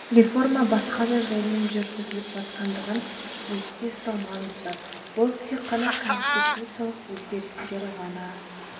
реформа басқа да жолмен жүргізіліп жатқандығын есте ұстау маңызды бұл тек қана конституциялық өзгерістер ғана